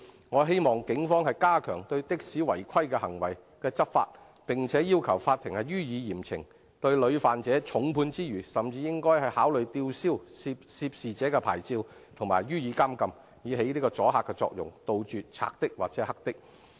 我希望警方加強對的士違規行為執法，並要求法庭予以嚴懲，重判屢犯者之餘，甚至應考慮吊銷涉事者的執照及予以監禁，以起阻嚇作用，杜絕"賊的"或"黑的"。